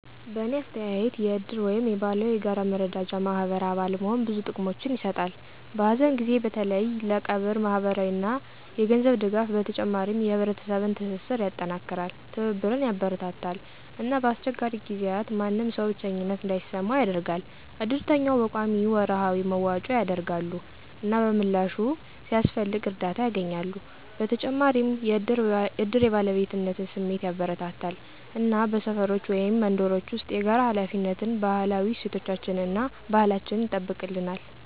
በእኔ አስተያየት የእድር ወይም የባህላዊ የጋራ መረዳጃ ማህበር አባል መሆን ብዙ ጥቅሞችን ይሰጣል። በሀዘን ጊዜ በተለይ ለቀብር ማህበራዊ እና የገንዘብ ድጋፍ በተጨማሪም የህብረተሰብን ትስስር ያጠናክራል፣ ትብብርን ያበረታታል እና በአስቸጋሪ ጊዜያት ማንም ሰው ብቸኝነት እንዳይሰማው ያደርጋል። እድርተኛው በቆሚነት ወራዊ መዋጮ ያደርጋሉ፣ እና በምላሹ፣ ሲያስፈልግ እርዳታ ያገኛሉ። በተጨማሪም እድር የባለቤትነት ስሜትን ያበረታታል እና በሰፈሮች ወይም መንደሮች ውስጥ የጋራ ሃላፊነትን፣ ባህላዊ እሴቶቻችን እና ባህላችን ይጠብቅልነል።